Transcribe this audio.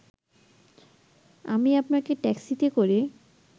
আমি আপনাকে ট্যাক্সিতে করে